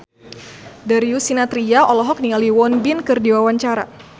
Darius Sinathrya olohok ningali Won Bin keur diwawancara